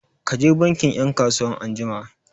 Ka je bankin 'yan kasuwan anjima!